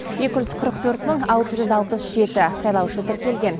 екі жүз қырық төрт мың алты жүз алпыс жеті сайлаушы тіркелген